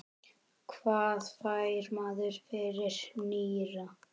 Hvað fær maður fyrir nýra?